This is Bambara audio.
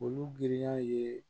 Olu giriya ye